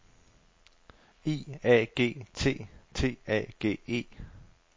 I A G T T A G E